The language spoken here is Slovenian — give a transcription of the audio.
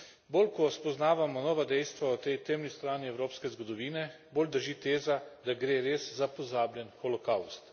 Bolj, ko spoznavamo nova dejstva o tej temni strani evropske zgodovine, bolj drži teza, da gre res za pozabljen holokavst.